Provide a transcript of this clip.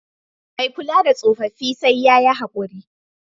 Mai kula da tsofaffi sai ya yi haƙuri.